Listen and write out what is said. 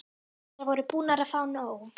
Þær voru búnar að fá nóg.